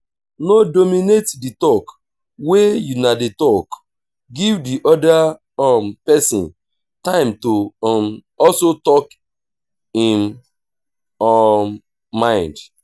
no dominate di talk wey una dey talk give di oda um person time to um also talk im um mind